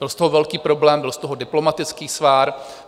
Byl z toho velký problém, byl z toho diplomatický svár.